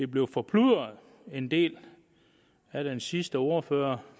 blev forplumret en del af den sidste ordfører